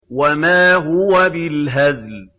وَمَا هُوَ بِالْهَزْلِ